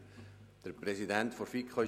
Wir kommen zu 7.e Prämienverbilligungen.